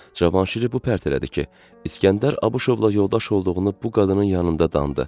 Cavanşiri bu pərt elədi ki, İsgəndər Abışovla yoldaş olduğunu bu qadının yanında danıb.